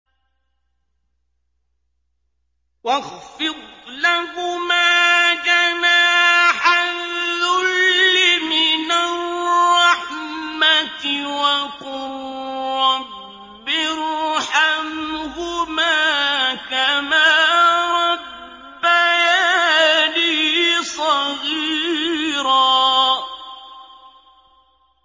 وَاخْفِضْ لَهُمَا جَنَاحَ الذُّلِّ مِنَ الرَّحْمَةِ وَقُل رَّبِّ ارْحَمْهُمَا كَمَا رَبَّيَانِي صَغِيرًا